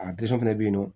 A fana bɛ yen nɔ